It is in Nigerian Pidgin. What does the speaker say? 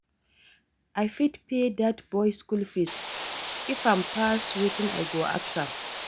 I fit pay dat boy school fees if im pass wetin i go ask am.